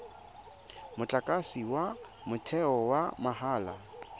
motlakase wa motheo wa mahala